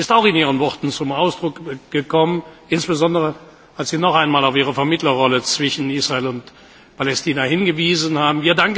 Das ist auch in Ihren Worten zum Ausdruck gekommen, insbesondere, als Sie noch einmal auf Ihre Vermittlerrolle zwischen Israel und Palästina hingewiesen haben.